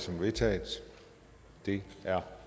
som vedtaget det er